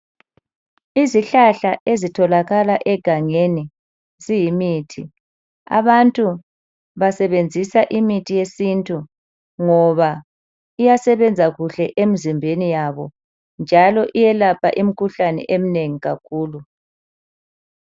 Izihlahla ezitholakala egangeni ziyimithi. Abantu basebenzisa imithi yesintu ngoba iyasebenza kuhle emzimbeni yabo njalo iyelapha imkhuhlane eminengi kakhulu.